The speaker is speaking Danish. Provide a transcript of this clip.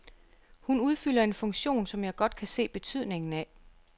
Hun udfylder en funktion, som jeg godt kan se betydningen af.